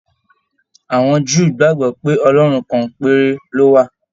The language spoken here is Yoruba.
Àwọn Júù gbagbọ pe Ọlọrun kan péré ló wà.